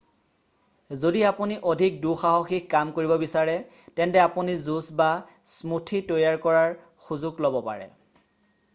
যদি আপুনি অধিক দুঃসাহসিক কাম কৰিব বিচাৰে তেন্তে আপুনি জুচ বা স্মুথি তৈয়াৰ কৰাৰ সুযোগ ল'ব পাৰে